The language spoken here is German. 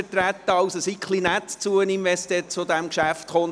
Seien Sie also ein bisschen nett zu ihm, wenn es zu diesem Geschäft kommt: